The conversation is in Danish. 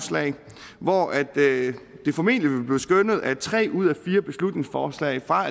hvor det formentlig vil blive skønnet at tre ud af fire beslutningsforslag fra